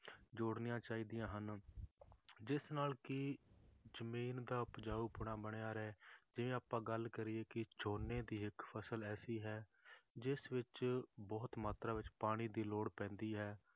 ਜੋੜਨੀਆਂ ਚਾਹੀਦੀਆਂ ਹਨ ਜਿਸ ਨਾਲ ਕਿ ਜ਼ਮੀਨ ਦਾ ਉਪਜਾਊਪੁਣਾ ਬਣਿਆ ਰਹੇ, ਜੇ ਆਪਾਂ ਗੱਲ ਕਰੀਏ ਕਿ ਝੋਨੇ ਦੀ ਇੱਕ ਫਸਲ ਐਸੀ ਹੈ ਜਿਸ ਵਿੱਚ ਬਹੁਤ ਮਾਤਰਾ ਵਿੱਚ ਪਾਣੀ ਦੀ ਲੋੜ ਪੈਂਦੀ ਹੈ